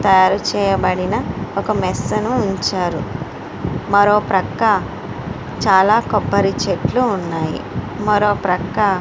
తయారు చేయబడిన ఒక మెస్ ని ఉంచారు. మరో ప్రక్క చాలా కొబ్బరి చెట్లు ఉన్నాయి. మరో ప్రక్క--